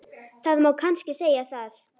Það má kannski segja það.